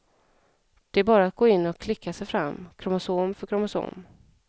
Det är bara att gå in och klicka sig fram, kromosom för kromosom.